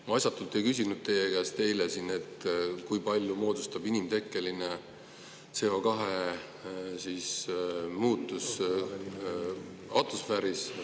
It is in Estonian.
Ma asjatult ei küsinud teie käest eile siin, et kui palju moodustab inimtekkeline CO2 muutusi atmosfääris.